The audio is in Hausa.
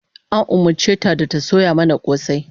An umurce ta da ta soya mana kosai